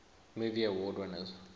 movie award winners